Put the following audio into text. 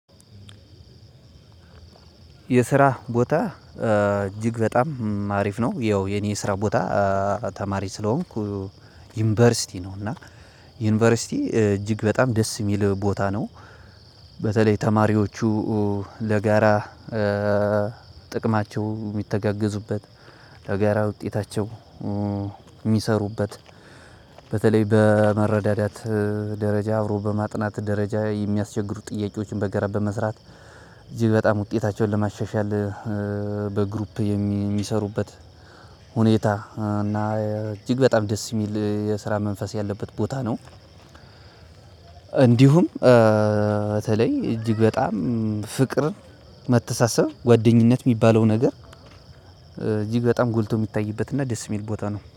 የስራ ቦታ እጅግ በጣም አሪፍ ነው ያው የኔ የስራ ቦታ ተማሪ ስለሆንኩ ዩኒቨርሲቲ ነው እና ዩኒቨርሲቲ እጅግ በጣም ደስ የሚል ቦታ ነው። በተለይ ተማሪዎቹ ለጋራ ጥቅማቸው የሚተጋገዙበት ለጋራ ውጤታቸው የሚሰሩበት በተለይ በመረዳዳት ደረጃ አብሮ በማጥናት ደረጃ የሚያስቸግሩ ጥያቄዎችን በጋራ በመስራት እጅግ በጣም ውጤታቸውን ለማሻሻል በግሩፕ የሚሰሩበት ሁኔታ እና እጅግ በጣም ደስ የሚል የስራ መንፈስ ያለበት ቦታ ነው። እንዲሁም በተለይ እጅግ በጣም ፍቅር መተሳሰብ ጓደኝነት የሚባለው ነገር እጅግ በጣም ጎልቶ የሚታይበት እና ደስ የሚል ቦታ ነው